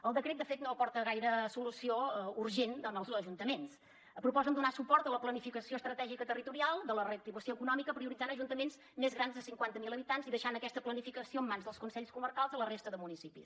el decret de fet no aporta gaire solució urgent als ajuntaments proposen donar suport a la planificació estratègica i territorial de la reactivació econòmica prioritzant ajuntaments més grans de cinquanta mil habitants i deixant aquesta planificació en mans dels consells comarcals a la resta de municipis